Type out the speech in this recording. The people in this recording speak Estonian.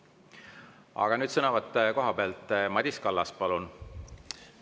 Aga nüüd sõnavõtt koha pealt, Madis Kallas, palun!